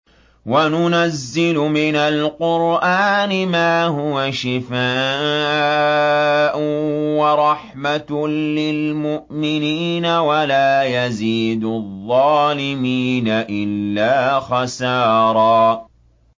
وَنُنَزِّلُ مِنَ الْقُرْآنِ مَا هُوَ شِفَاءٌ وَرَحْمَةٌ لِّلْمُؤْمِنِينَ ۙ وَلَا يَزِيدُ الظَّالِمِينَ إِلَّا خَسَارًا